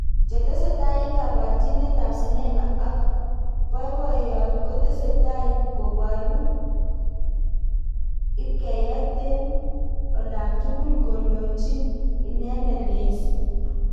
chetesetai eng kabarjinet ab sinema ak boiboyrt kotesetai koboru lbkeyet eng olatukul kondojin inendet Daisy